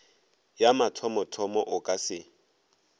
ya mathomothomo o ka se